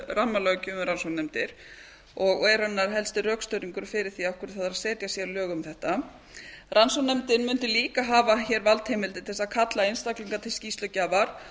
rammalöggjöf um rannsóknarnefndir og er raunar heldur rökstuðningurinn fyrir því af hverju þarf að setja sérlög um þetta rannsóknarnefndin mundi líka hafa hér valdheimildir til þess að kalla einstaklinga til skýrslugjafar